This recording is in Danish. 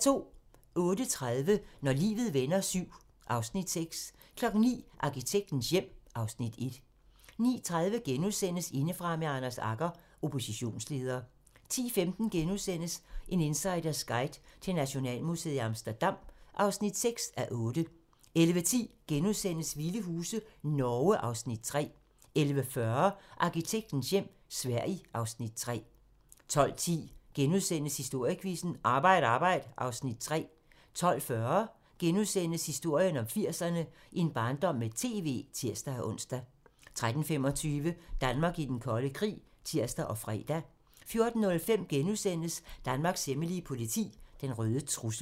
08:30: Når livet vender VII (Afs. 6) 09:00: Arkitektens hjem (Afs. 1) 09:30: Indefra med Anders Agger - Oppositionsleder * 10:15: En insiders guide til Nationalmuseet i Amsterdam (6:8)* 11:10: Vilde huse - Norge (Afs. 3)* 11:40: Arkitektens hjem - Sverige (Afs. 3) 12:10: Historiequizzen: Arbejd arbejd (Afs. 3)* 12:40: Historien om 80'erne: En barndom med TV *(tir-ons) 13:25: Danmark i den kolde krig (tir og fre) 14:05: Danmarks hemmelige politi: Den røde trussel *